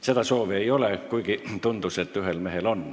Seda soovi ei ole.